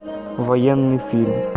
военный фильм